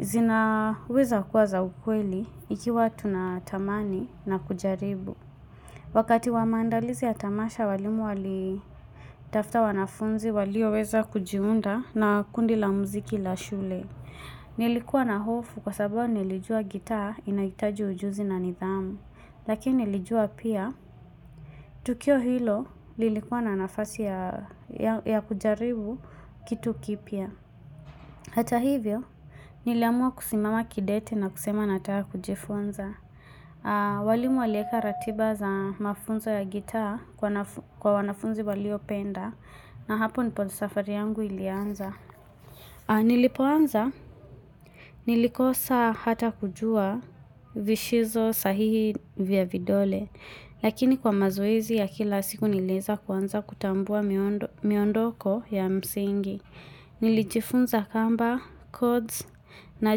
zina weza kuwa za ukweli ikiwa tunatamani na kujaribu. Wakati wa maandalizi ya tamasha walimu walitafuta wanafunzi walio weza kujiunga na kundi la mziki la shule. Nilikuwa na hofu kwa sababu nilijua gitaa inaitaji ujuzi na nidhamu Lakini nilijua pia Tukio hilo nilikuwa na nafasi ya kujaribu kitu kipya Hata hivyo niliamua kusimama kidete na kusema nataka kujifunza walimu walieka ratiba za mafunzo ya gitaa kwa wanafunzi walio penda na hapo ndipo safari yangu ilianza Nilipo anza, nilikosa hata kujua vishizo sahihi vya vidole, lakini kwa mazoezi ya kila siku nilieza kuanza kutambua miondoko ya msingi, nilijifunza kamba, chords, na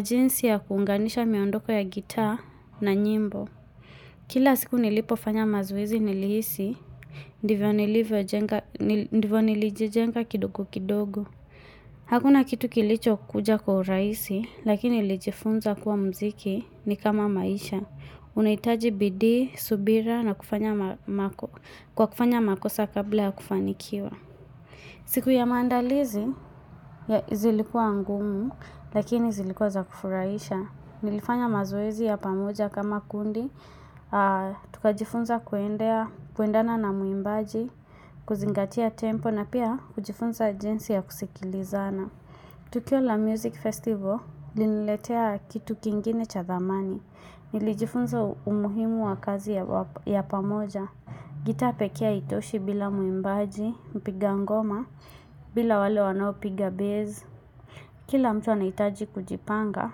jinsi ya kunganisha miondoko ya gitaa na nyimbo. Kila siku nilipofanya mazoezi nilihisi, ndivyo nilijijenga kidogo kidogo. Hakuna kitu kilicho kuja kwa urahisi, lakini nilijifunza kuwa mziki ni kama maisha. Unaitaji bidii, subira na kufanya makosa, kabla ya kufanikiwa. Siku ya mandalizi, zilikua ngumu, lakini zilikua zakufurahisha. Nilifanya mazoezi ya pamoja kama kundi, tukajifunza kuendana na muimbaji, kuzingatia tempo na pia ujifunza jinsi ya kusikilizana. Tukio la music festival iliniletea kitu ingine ya thamani. Ilifunzi umuhimu wa kazi kwa pamoja gitaa pekee haitoshi bila mwimbaji mpiga ngoma bila wale waonao piga baze kila mtu anahitaji kujipanga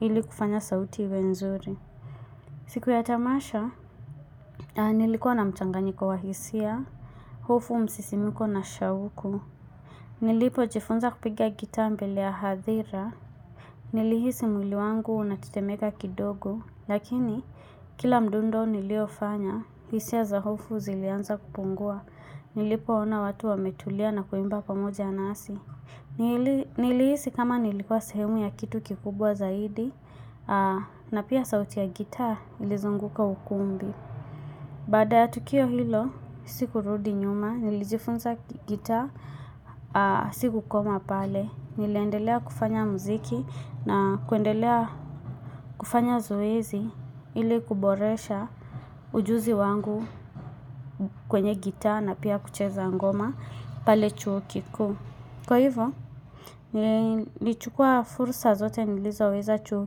ili kufanya sauti iwe nzuri siku ya tamasha nilikua na mchanganyiko wa hisia hofu, msisimuko na shauku Nilipojifunza kupiga gitaa mbele ya hadhira Nilihisi mwili wangu unatetemeka kidogo lakini kila mdundo niliofanya hisia za hofu zilianza kupungua Nilipoona watu wametulia na kuimba pamoja nasi Nilihisi nilikua sehemu ya kitu kikubwa zaidi na pia sauti ya gitaa ilizunguka ukumbi Baada ya tukio hilo sikurudi nyuma. Nilijifunza gitaa sikukoma pale niliendelea kufanya muziki na kuendelea kufanya zoezi Ilikuboresha ujuzi wangu kwenye gitaa na pia kucheza ngoma pale chuo kikuu kwa hivo Nilichukua fursa zote nilizoweza chuo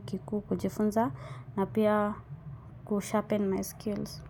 kikuu kujifunza na pia kusharpen my skills.